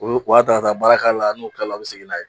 Olu bo a ta ka taa baara k'a la, n'u tilala u be segin n'a ye.